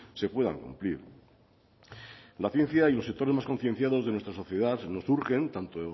se puedan cumplir la ciencia y los sectores más concienciados de nuestra sociedad nos urgen tanto